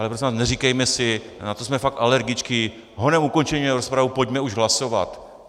Ale prosím vás, neříkejme si, na to jsme fakt alergičtí: honem ukončeme rozpravu, pojďme už hlasovat.